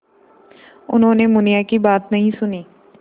उन्होंने मुनिया की बात नहीं सुनी